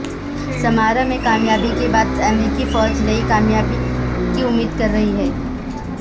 سمارا میں کامیابی کے بعد امریکی فوج نئی کامیابی کی امید کررہی ہے